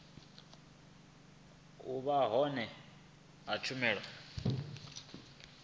u vha hone ha tshumelo